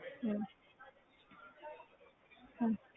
ਹਮ ਹਮ